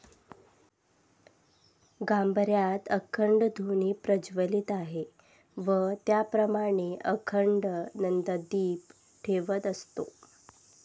गाभाऱ्यात अखंड धुनी प्रज्वलित आहे व त्याचप्रमाणे अखंड नंदादीप ठेवत असतो.